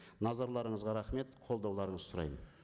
назарларыңызға рахмет қолдауларыңызды сұраймын